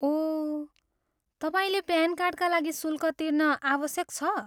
ओह, तपाईँले प्यान कार्डका लागि शुल्क तिर्न आवश्यक छ?